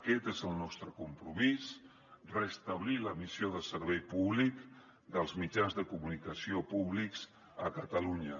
aquest és el nostre compromís restablir la missió de servei públic dels mitjans de comunicació públics a catalunya